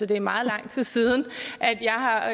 det er meget lang tid siden